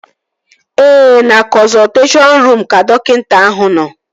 Ee, na kọnzọlteshọn ruum ka dọkịta ahụ nọ